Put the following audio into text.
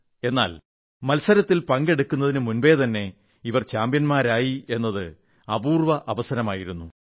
് എന്നാൽ മത്സരത്തിൽ പങ്കെടുക്കുന്നതിന് മുൻപേതന്നെ ഇവർ ചാംപ്യൻമാരായി എന്നത് അപൂർവ്വ അവസരമായിരുന്നു